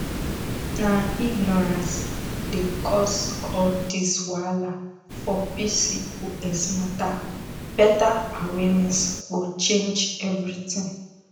na ignorance dey cause all this wahala for pcos matter better awareness go change everything